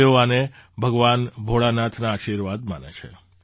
તેઓ આને ભગવાન ભોળાનાથના આશીર્વાદ માને છે